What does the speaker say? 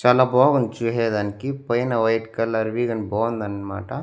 చాలా బాగుంద్ చూసేదానికి పైన వైట్ కలర్ వి కని బావుందన్మాట.